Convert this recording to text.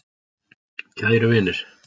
Kæru vinir.